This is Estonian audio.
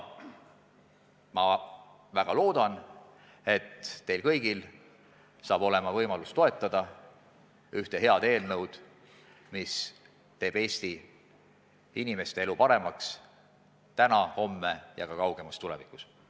Ma väga loodan, et teil kõigil saab olema võimalus toetada ühte head eelnõu, mis teeb Eesti inimeste elu paremaks täna, homme ja ka kaugemas tulevikus.